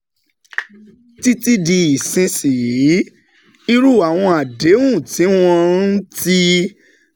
Títí di ìsinsìnyí, irú àwọn àdéhùn tí wọ́n um ti